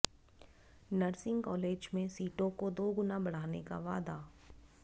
nursing college में सीटों को दोगुना बढ़ाने का वादा